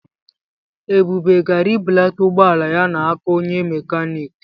Ebube gara ibulata ụgbọala ya n'aka onye mekaniki.